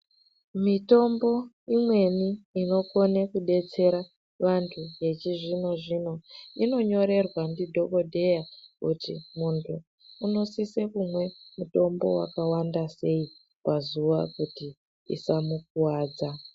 Mitombo imweni inokona kudetsera vantu vechizvino-zvino, inonyorerwa ndidhokodheya, kuti muntu unosise kumwe mutombo wakawanda sei pazuwa, kuti isamukuwadza.